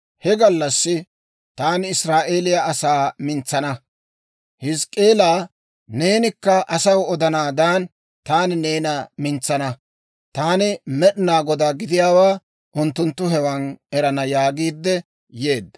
«He gallassi taani Israa'eeliyaa asaa mintsana. Hizk'k'eelaa, neenikka asaw odanaadan, taani neena mintsana. Taani Med'inaa Godaa gidiyaawaa unttunttu hewan erana» yaagiidde yeedda.